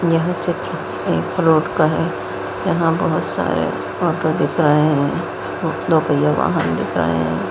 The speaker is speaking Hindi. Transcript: यह चित्र एक रोड का है यहां बहुत सारे ऑटो दिख रहे हैं दो पहियों वाहन दिख रहे हैं।